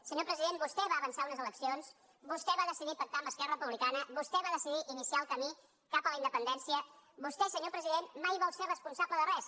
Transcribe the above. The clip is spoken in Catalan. senyor president vostè va avançar unes eleccions vostè va decidir pactar amb esquerra republicana vostè va decidir iniciar el camí cap a la independència vostè senyor president mai vol ser responsable de res